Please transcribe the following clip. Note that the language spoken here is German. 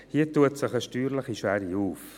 Hier eröffnet sich eine steuerliche Schwere.